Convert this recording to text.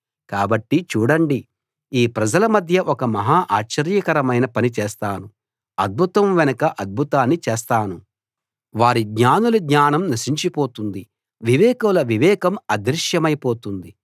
కాబట్టి చూడండి ఈ ప్రజల మధ్య ఒక మహా ఆశ్చర్యకరమైన పని చేస్తాను అద్భుతం వెనుక అద్భుతాన్ని చేస్తాను వారి జ్ఞానుల జ్ఞానం నశించిపోతుంది వివేకుల వివేకం అదృశ్యమై పోతుంది